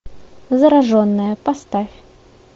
зараженная поставь